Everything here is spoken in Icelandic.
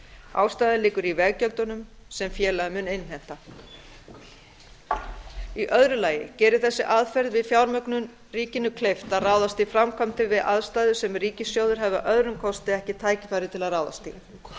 ástæðan liggur í veggjöldunum sem félagið mun innheimta í öðru lagi gerir þessi aðferð við fjármögnun ríkinu kleift að ráðast í framkvæmdir við aðstæður sem ríkissjóður hefði að öðrum kosti ekki tækifæri til að ráðast í